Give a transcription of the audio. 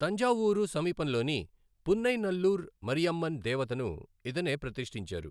తంజావూరు సమీపంలోని పున్నైనల్లూర్ మరియమ్మన్ దేవతను ఇతనే ప్రతిష్ఠించారు.